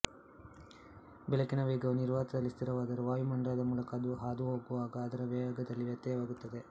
ಬೆಳಕಿನ ವೇಗವು ನಿರ್ವಾತದಲ್ಲಿ ಸ್ಥಿರವಾದರೂ ವಾಯುಮಂಡಲದ ಮೂಲಕ ಅದು ಹಾದು ಹೋಗುವಾಗ ಅದರ ವೇಗದಲ್ಲಿ ವ್ಯತ್ಯಯವಾಗುತ್ತದೆ